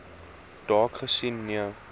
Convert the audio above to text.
dalk gesien nee